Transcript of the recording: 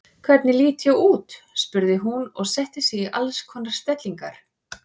Hvernig lít ég út? spurði hún og setti sig í alls konar stellingar.